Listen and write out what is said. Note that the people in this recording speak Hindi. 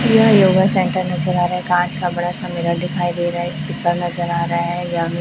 यह योगा सेंटर नजर आ रहा है काँच का बड़ा सा मिरर दिखाई दे रहा है स्पीकर नजर आ रहा है जहाँ पे --